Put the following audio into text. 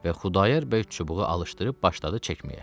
Və Xudayar bəy çubuğu alışdırıb başladı çəkməyə.